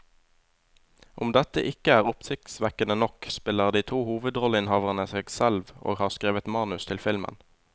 Om dette ikke er oppsiktsvekkende nok, spiller de to hovedrolleinnehaverne seg selv og har skrevet manus til filmen.